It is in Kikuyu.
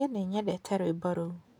Nĩ nyendete rwĩmbo rũu.